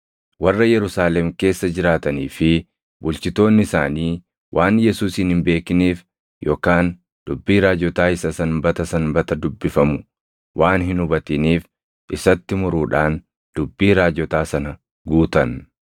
Warra Yerusaalem keessa jiraatanii fi bulchitoonni isaanii waan Yesuusin hin beekiniif yookaan dubbii raajotaa isa Sanbata Sanbata dubbifamu waan hin hubatiniif isatti muruudhaan dubbii raajotaa sana guutan.